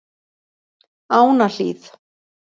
Ánahlíð